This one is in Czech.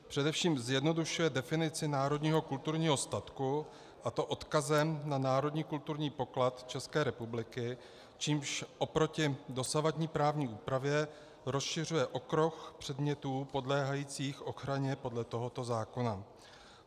Především zjednodušuje definici národního kulturního statku, a to odkazem na národní kulturní poklad České republiky, čímž oproti dosavadní právní úpravě rozšiřuje okruh předmětů podléhajících ochraně podle tohoto zákona.